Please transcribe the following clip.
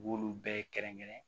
U b'olu bɛɛ kɛrɛnkɛrɛn